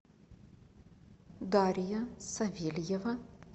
дарья савельева